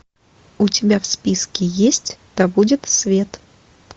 у тебя в списке есть да будет свет